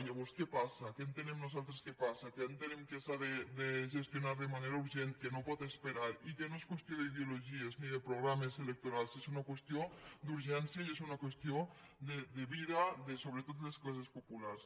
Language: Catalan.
llavors què passa què entenem nosaltres que passa què entenem que s’ha de gestionar de manera urgent que no pot esperar i que no és qüestió d’ideologies ni de programes electorals és una qüestió d’urgència i és una qüestió de vida sobretot de les classes populars